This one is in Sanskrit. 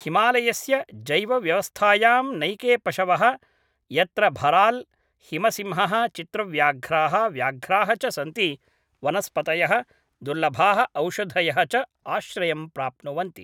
हिमालयस्य जैवव्यवस्थायां नैके पशवः यत्र भराल्, हिमसिंहः, चित्रव्याघ्राः, व्याघ्राः च सन्ति, वनस्पतयः, दुर्लभाः ओषधयः च आश्रयं प्राप्नुवन्ति।